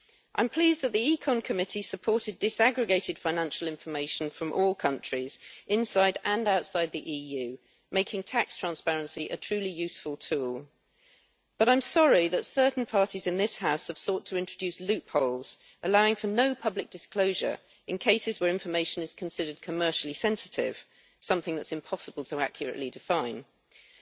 I am pleased that the Committee on Economic and Monetary Affairs supported disaggregated financial information from all countries inside and outside the EU, making tax transparency a truly useful tool, but I am sorry that certain parties in this House have sought to introduce loopholes allowing for no public disclosure in cases where information is considered commercially sensitive, something that it is impossible to define accurately.